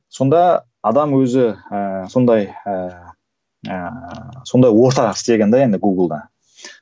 сонда адам өзі ыыы сондай ыыы сондай ортақ істеген де енді гугл да